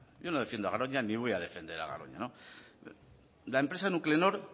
yo no defiendo a garoña ni voy a defender a garoña la empresa nuclenor